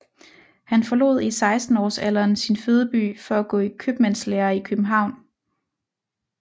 Han forlod i 16 årsalderen sin fødeby for at gå i købmandslære i København